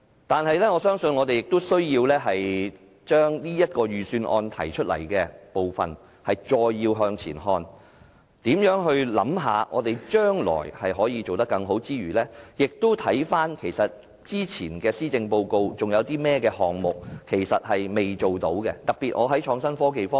不過，我相信我們仍有需要就預算案提出的工作再向前看，在考慮將來如何可以做得更好之餘，也要回看以往的施政報告中尚未做到的項目，特別是創科方面。